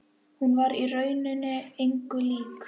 Hún var í rauninni engu lík.